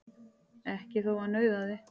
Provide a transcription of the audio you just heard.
Ekki þótt hann nauðaði.